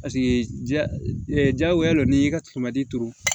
Paseke jagoya lo n'i y'i ka turu